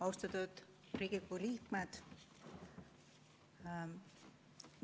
Austatud Riigikogu liikmed!